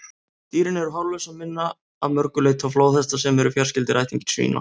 Dýrin eru hárlaus og minna að mörgu leyti á flóðhesta, sem eru fjarskyldir ættingjar svína.